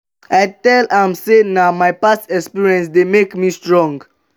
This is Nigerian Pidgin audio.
i tell am sey na my past experience dey make me strong.